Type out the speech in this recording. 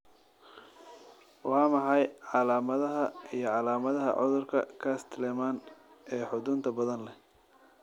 Waa maxay calaamadaha iyo calaamadaha cudurka Castleman ee xudunta badan leh?